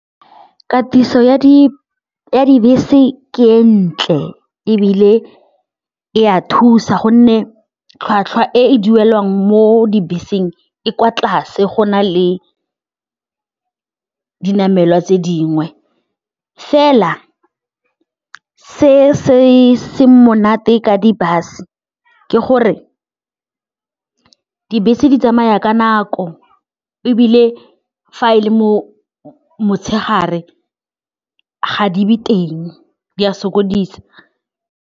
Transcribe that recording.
Katiso ya dibese ntle ebile e a thusa gonne tlhwatlhwa e e duelang mo dibeseng e kwa tlase go na le dinamelwa tse dingwe fela se se seng monate ka di-bus-e ke gore dibese di tsamaya ka nako ebile fa e le motshegare ga di be teng, di a sokodisa.